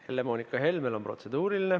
Helle-Moonika Helmel on protseduuriline.